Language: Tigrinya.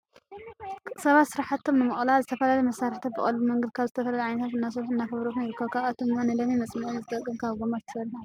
ሰባት ስራሕቶም ንምቅላል ዝተፈላለዩ መሳርሕታት ብቀሊል መንገዲ ካብ ዝተፈላለዩ ዓይነታት እናሰርሑን እናፈብርኩን ይርከቡ። ካብኣቶም ድማ ንለሚን መፅመዒ ዝጠቅም ካብ ጎማ ተሰሪሑ ኣሎ።